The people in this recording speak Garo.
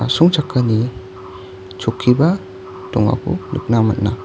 asongchakani chokkiba dongako nikna man·a.